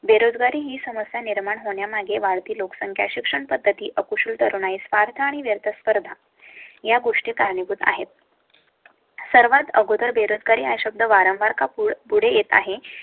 बेरोजगारी ही समस्या निर्माण होण्या मागे वाढती लोकसंख्या, शिक्षण पद्धती अकुशल नाही. स्वार्थ आणि व्यथा स्पर्धा या गोष्टी कारणीभूत आहेत. सर्वात अगोदर बेरोजगारी अशुद्ध. वारंवार कपूर पुढे येत आहे